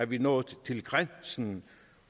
vi nået til grænsen